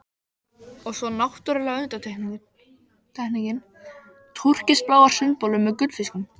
Og svo náttúrlega undantekningin, TÚRKISBLÁR SUNDBOLUR MEÐ GULLFISKUM.